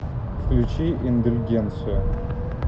включи индульгенцию